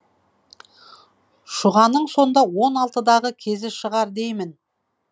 шұғаның сонда он алтыдағы кезі шығар деймін